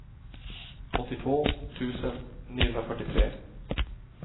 åttiotvå tusen niohundrafyrtiotre